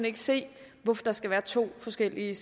ikke se hvorfor der skal være to forskellige